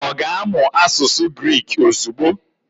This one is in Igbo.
Ọ ga-amụ asụsụ Griki ozugbo?